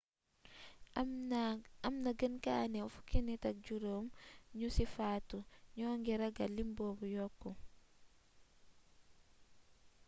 amna gën gaa néew 15 nit ñu ci faatu ñoo ngi ragal lim boobu yokk